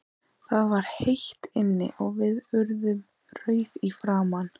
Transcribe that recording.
Það var heitt inni, og við urðum rauðir í framan.